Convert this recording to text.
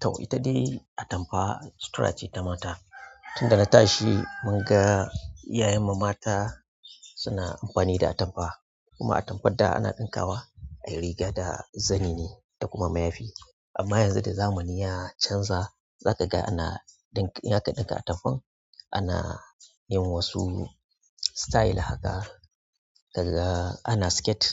Tau, ita dai atamfa cutura ce ta mata. Tun da na tashi mun ga iyayen mu mata suna amfani da atamfa. Kuma atamfar da ana ɗinkawa ayi riga da zani ne da kuma mayafi amma yanzu da zamani ya canza, za ka ga ana ɗin-- in zaka ɗinka atamfan ana yin wasu style haka, daga ana skirt,